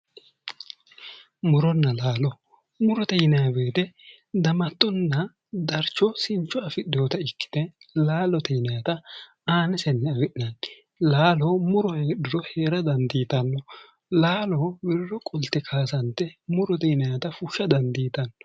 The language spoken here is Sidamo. Muronna laalo:-murote yinanni woyiite damattenna darcho sincho afidheeta ikkite laalote yinayita aanisenni afi'nanni laalo muro heedhuro heere dandiitanno laalo wirro qolte kayissante murote yinannita fushsha dandiitanno